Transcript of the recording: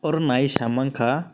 aro nai oe saimang ka.